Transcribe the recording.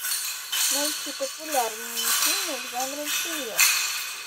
найти популярные фильмы в жанре триллер